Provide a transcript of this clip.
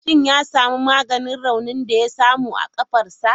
Shin ya samu maganin raunin da ya samu a kafarsa?